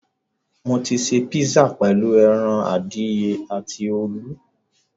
Mo ṣe písà pẹ̀lú ẹran adìyẹ àti olú.